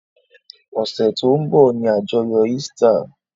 Ọ̀sẹ̀ tó ń bọ̀ ni àjọyọ̀ Easter.